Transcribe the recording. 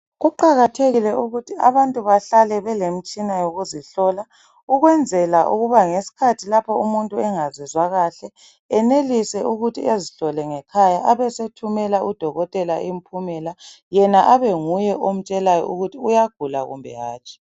Kuqakathekile ukuthi abantu bahlale belemitshina yokuzihlola ukwenzela ukuba ngesikhathi lapha umuntu engazizwa kahle enelise ukuthi ezihlole ngekhaya abesethumela udokotela impumela yena abenguye omtshelayo ukuthi uyagula loba hatshi.